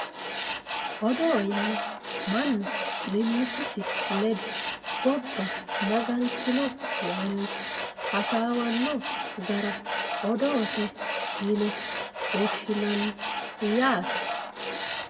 Odoo yaa mannu mimmitisi ledo gobba magaltino yee hasaawanno gara odoote yine woshshinanni yaate